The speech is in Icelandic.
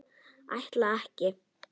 Ætla ekki.